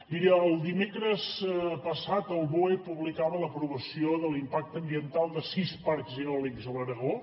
miri el dimecres passat el boe publicava l’aprovació de l’impacte ambiental de sis parcs eòlics a l’aragó